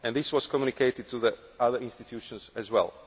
This was communicated to the other institutions as